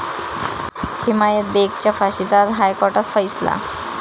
हिमायत बेगच्या फाशीचा आज हायकोर्टात फैसला